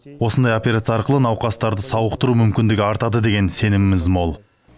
осындай операция арқылы науқастарды сауықтыру мүмкіндігі артады деген сеніміміз мол